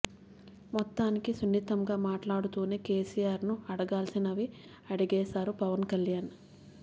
మొత్తానికి సున్నితంగా మాట్లాడుతూనే కేసీఆర్ ను అడగాల్సినవి అడిగేశారు పవన్ కళ్యాణ్